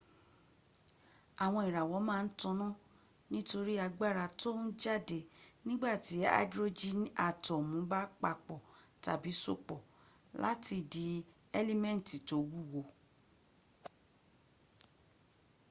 àwọn ìràwọ̀ ma n taná nítorí agbára tón jáde nígbàtí aidrojini atọ́mu ba papò tàbí sopọ̀ láti di ẹ́límẹ́ntì tó wúwo